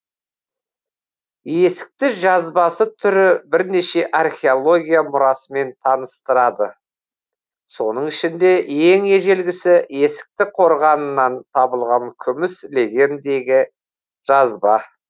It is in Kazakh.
есікті жазбасы түрі бірнеше археология мұрасымен таныстырады соның ішінде ең ежелгісі есікті қорғанынан табылған күміс легендегі жазба